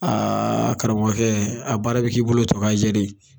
Aa karamɔgɔ kɛ , a baara be k'i bolo tɔ ka jɛ de ye.